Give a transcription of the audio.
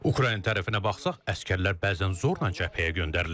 Ukrayna tərəfinə baxsaq, əsgərlər bəzən zorla cəbhəyə göndərilir.